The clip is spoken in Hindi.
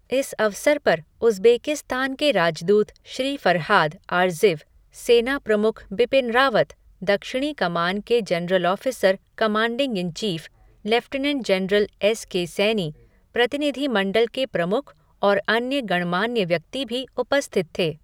इस अवसर पर उज़्बेकिस्तान के राजदूत श्री फ़रहाद आरज़िव, सेना प्रमुख बिपिन रावत, दक्षिणी कमान के general officer commanding in chief, lieutenant general S K Saini, प्रतिनिधि मंडल के प्रमुख और अन्य गणमान्य व्यक्ति भी उपस्थित थे।